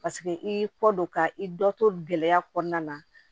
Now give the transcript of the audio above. Paseke i y'i kɔ don ka i dɔ to gɛlɛya kɔnɔna na